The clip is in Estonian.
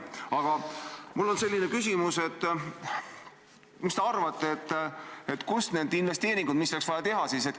Aga mul on selline küsimus: mis te arvate, kust tulevad investeeringud, mis oleks vaja sel juhul teha?